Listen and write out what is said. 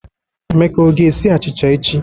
Emeka ọ ga-esi achịcha echi?